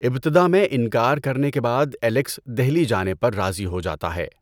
ابتداء میں انکار کرنے کے بعد الیکس دہلی جانے پر راضی ہو جاتا ہے۔